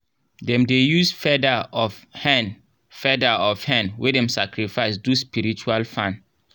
dem dey use feather of hen feather of hen wey dem sacrifice do spiritual fan.